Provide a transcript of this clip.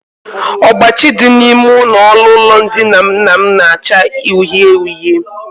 Ọgbachi dị n'ime ọnụụlọ ndina nna m na-acha uhie uhie